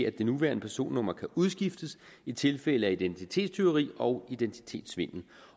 at det nuværende personnummer kan udskiftes i tilfælde af identitetstyveri og identitetssvindel